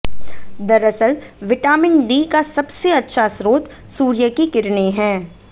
दरअसल vitamin D का सबसे अच्छा स्रोत सूर्य की किरणें हैं